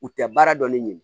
U tɛ baara dɔn ne ɲini